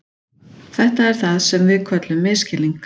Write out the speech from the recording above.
Þetta er það sem við köllum misskilning.